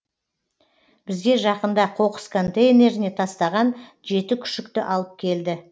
бізге жақында қоқыс контейнеріне тастаған жеті күшікті алып келді